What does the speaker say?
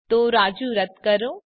તો રાજુ રદ કરો